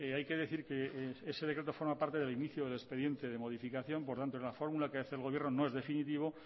hay que decir que ese decreto forma parte del inicio del expediente de modificación por tanto la fórmula que hace el gobierno no es definitivo